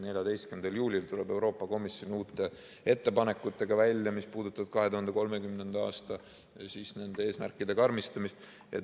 14. juulil tuleb Euroopa Komisjon välja uute ettepanekutega, mis puudutavad nende 2030. aasta eesmärkide karmistamist.